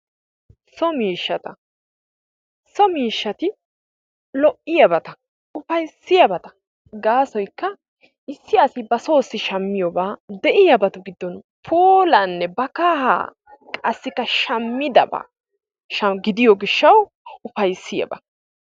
so miishshata, so miishshati lo'iyaabata; ufayssiyabata, gaasoykka issi assi basoossi shammiyabata de'iyabata puulanne ba kahaa qassikka shamidabata gidiyo gishawu ufayssiyaba.,